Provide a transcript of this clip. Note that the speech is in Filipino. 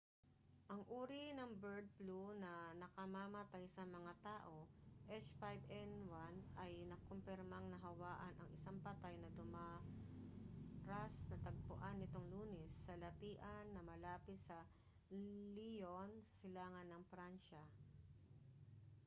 ang uri ng bird flu na nakamamatay sa mga tao h5n1 ay nakumpirmang nahawaan ang isang patay na dumaras natagpuan nitong lunes sa latian na malapit sa lyon sa silangan ng pransya